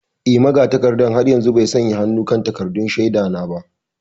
Eh, magatakarda har yanzu bai sanya hannu kan takaddun shaida na ba.